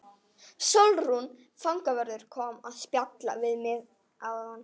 Sólrún fangavörður kom að spjalla við mig áðan.